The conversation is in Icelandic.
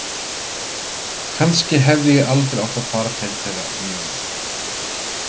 Kannski hefði ég aldrei átt að fara til þeirra um jólin.